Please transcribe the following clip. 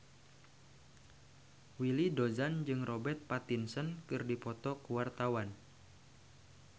Willy Dozan jeung Robert Pattinson keur dipoto ku wartawan